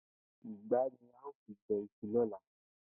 Ìgbá ni a óò fi je̩ is̩u ló̩la